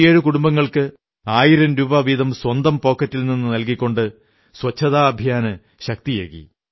57 കുടുംബങ്ങൾക്ക് ആയിരം രൂപ വീതം സ്വന്തം പോക്കറ്റിൽ നിന്നു നല്കിക്കൊണ്ട് സ്വച്ഛതാ അഭിയാന് ശക്തിയേകി